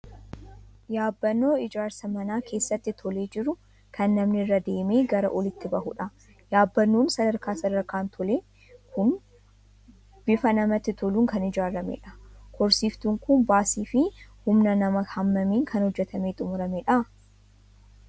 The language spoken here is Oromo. Yaabbannoo ijaarsa manaa keessatti tolee jiru, kan namni irra deemee gara oliitti bahudha. Yaabbannoon sadarkaa sadarkaan tole kun bifa namatti toluun kan ijaaramedha. Korsiiftuun kun baasii fi humna namaa hammamiin kan hojjetamee xumuramedha?